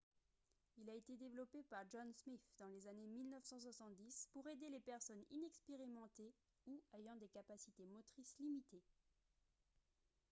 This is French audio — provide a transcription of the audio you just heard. il a été développé par john smith dans les années 1970 pour aider les personnes inexpérimentées ou ayant des capacités motrices limitées